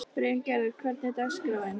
Bryngerður, hvernig er dagskráin?